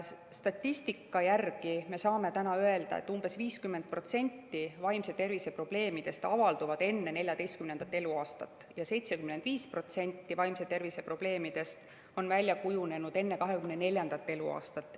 Statistika järgi me saame öelda, et umbes 50% vaimse tervise probleemidest avalduvad enne 14. eluaastat ja 75% vaimse tervise probleemidest on välja kujunenud enne 24. eluaastat.